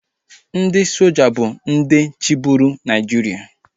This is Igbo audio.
Ndị soja bụ ihe chịburu Naịjiria